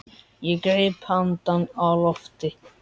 Ég greip andann á lofti.